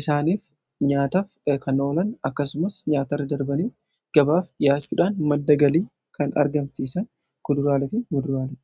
isaaniif nyaataaf kan oolan akkasumas nyaatarra darbanii gabaaf dhiyaachuudhaan madda galii kan argamsiisan kuduraaleefi muduraaledha.